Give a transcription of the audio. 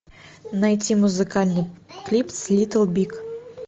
найти музыкальный клип с литл биг